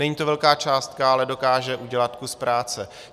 Není to velká částka, ale dokáže udělat kus práce.